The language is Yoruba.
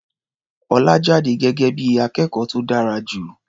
Ọlá jáde gẹ́gẹ́ bí i akẹ́kọ̀ó tó dára jù.